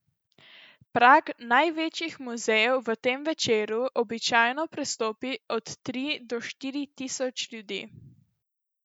Prag največjih muzejev v tem večeru običajno prestopi od tri do štiri tisoč ljudi.